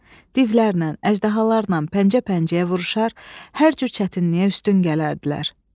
Divlərlə, əjdahalarla pəncə-pəncəyə vuruşar, hər cür çətinliyə üstün gələrdilər.